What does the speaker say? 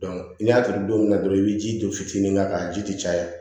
ni y'a turu don min na dɔrɔn i bi ji don fitinin k'a kan a ji ti caya